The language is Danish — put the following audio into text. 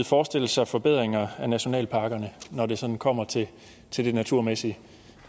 forestille sig forbedringer af nationalparkerne når det sådan kommer til det naturmæssige